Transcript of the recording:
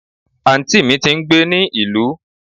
anti mí tí ń gbé ní ìlú